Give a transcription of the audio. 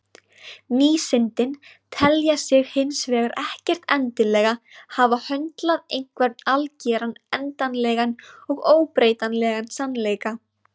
Vísindin telja sig hins vegar ekkert endilega hafa höndlað einhvern algeran, endanlegan og óbreytanlegan sannleika.